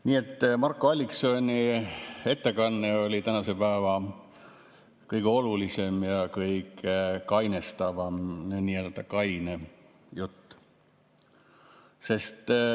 Nii et Marko Alliksoni ettekanne oli tänase päeva kõige olulisem ja kõige kainestavam, nii-öelda kaine jutt.